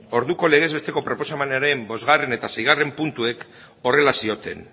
orduko legez besteko proposamenaren bostgarrena eta seigarrena puntuek horrela zioten